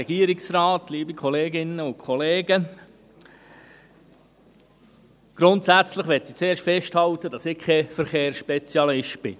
Grundsätzlich möchte ich zuerst festhalten, dass ich kein Verkehrsspezialist bin.